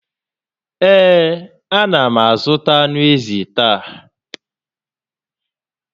Ee, a na m azụta ànù ézì taa